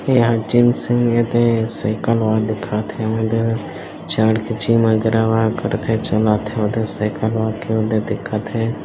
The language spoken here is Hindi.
यहाँ जिम - सिम एदे साइकल वा दिखत हे अऊ एदे चढ़ के जिम अगेरावा करथे चलथे ओदे साइकल वा के ओदे दिखत हे।